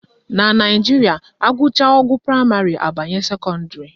Na Naijiria, agụcha ogo praịmarị abanye sekọndịrị